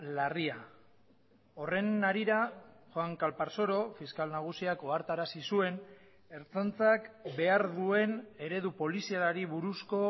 larria horren harira juan calparsoro fiskal nagusiak ohartarazi zuen ertzaintzak behar duen eredu polizialari buruzko